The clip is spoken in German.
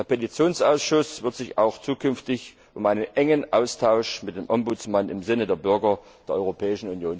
Der Petitionsausschuss wird sich auch zukünftig um einen engen Austausch mit dem Ombudsmann im Sinne der Bürger der Europäischen Union bemühen.